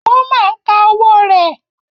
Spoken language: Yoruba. Woma ń ka owó rẹ̀